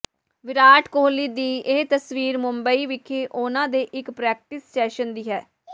ਵਿਰਾਟ ਕੋਹਲੀ ਦੀ ਇਹ ਤਸਵੀਰ ਮੁੰਬਈ ਵਿੱਖੇ ਉਨ੍ਹਾਂ ਦੇ ਇੱਕ ਪ੍ਰੈਕਟਿਸ ਸੈਸ਼ਨ ਦੀ ਹੈ